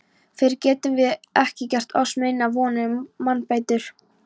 Fyrr getum vér ekki gert oss neinar vonir um mannbætur.